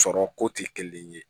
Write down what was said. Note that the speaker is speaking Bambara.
Sɔrɔ ko tɛ kelen ye